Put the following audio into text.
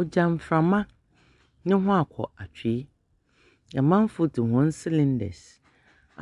Ɔgya frama ne ho a kɔ atwi. Na amanfoɔ dzi wɔn silidɛs